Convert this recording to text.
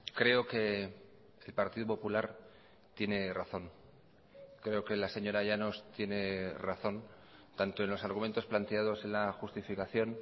creo que el partido popular tiene razón creo que la señora llanos tiene razón tanto en los argumentos planteados en la justificación